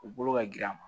U bolo ka girin a ma